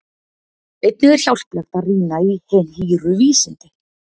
Einnig er hjálplegt að rýna í Hin hýru vísindi.